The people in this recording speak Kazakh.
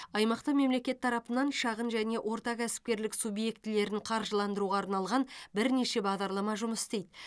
аймақта мемлекет тарапынан шағын және орта кәсіпкерлік субъектілерін қаржыландыруға арналған бірнеше бағдарлама жұмыс істейді